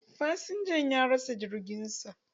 Fasinjan ya rasa jirgin sa.